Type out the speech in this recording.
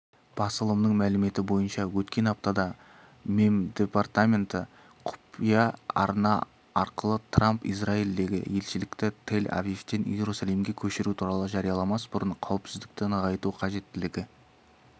басылымының мәліметі бойынша өткен аптада мемдепартаменті құпия арна арқылы трамп израильдегі елшілікті тель-авивтен иерусалимге көшіру туралы жарияламас бұрын қауіпсіздікті нығайту қажеттілігі